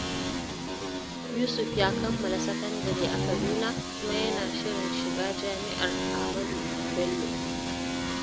Yusuf ya kammala sakandare a Kaduna kuma yana shirin shiga Jami’ar Ahmadu Bello.